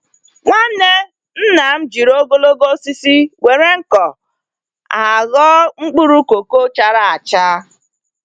Nwanne nna m jiri ogologo osisi nwere nko, agho mkpụrụ koko chara acha.